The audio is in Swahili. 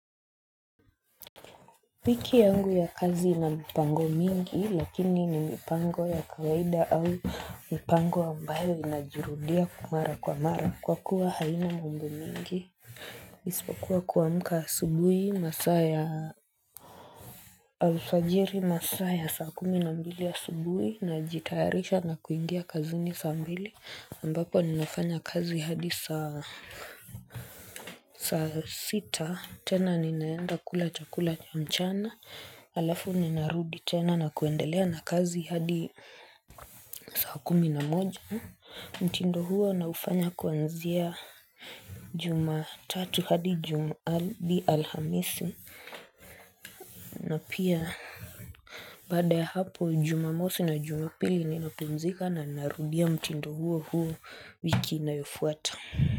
Piki yangu ya kazi ina mipango mingi lakini ni mipango ya kawaida au mipango ambayo inajirudia mara kwa mara kwa kuwa haina mungu mingi. Isipokuwa kuamka asubuhi masaa ya alfajiri masaa ya saa kumi na mbili ya asubuhi najtayarisha na kuingia kazini saa mbili ambapo ninafanya kazi hadi saa sita tena ninaenda kula chakula cha mchana alafu ninarudi tena na kuendelea na kazi hadi saa kumi na moja mtindo huo naufanya kwanzia Jumatatu hadi alhamisi na pia Baada ya hapo jumamosi na jumapili ninapumzika na narudia mtindo huo huo wiki inayofuata.